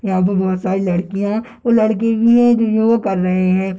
यहाँ पे बहुत सारी लडकियाँ और लड़के भी हैं जो योगा कर रहें हैं।